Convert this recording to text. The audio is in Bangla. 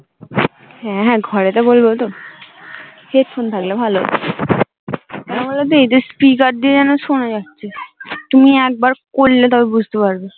হ্যা হ্যা ঘরে তো বলবো তো headphone হেডফোন থাকলে ভালো হত, কেনো বলো তো এই যে speaker দিয়ে যেনো সোনা যাচ্ছে, তুমি একবার করলে তবে বুঝতে পারবে